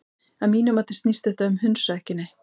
Að mínu mati snýst þetta um hundsa ekki neitt.